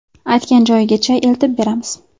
Aytgan joyigacha eltib beramiz.